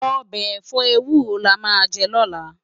Òbè èfò éwúró lámà jè lòlá